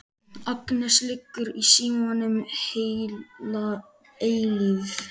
Agnes liggur í símanum heila eilífð.